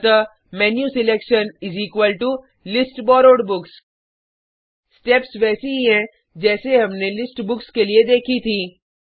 अतः menu selection is equal to list borrowed books steps वैसी ही हैं जैसे हमने लिस्ट बुक्स के लिए देखी थी